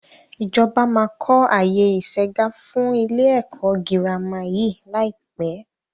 Ìjọba máa kọ àyè isegá fún ilé ẹ̀kọ́ girama yí lai pẹ́